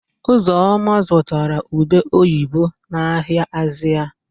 Ụzọma zụtara ube oyibo n'ahịa Azịa.